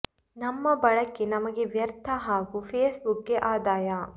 ನಮ್ಮ ಬಳಕೆ ನಮಗೆ ವ್ಯರ್ಥ ಹಾಗೂ ಫೇಸ್ ಬುಕ್ ಗೆ ಅಧಾಯ